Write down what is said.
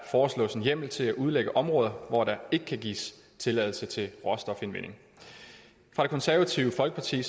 foreslås en hjemmel til at udlægge områder hvor der ikke kan gives tilladelse til råstofindvinding det konservative folkeparti